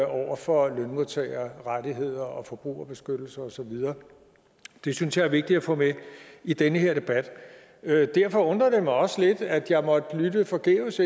over for lønmodtagerrettigheder og forbrugerbeskyttelse og så videre det synes jeg er vigtigt at få med i den her debat derfor undrer det mig også lidt at jeg måtte lytte forgæves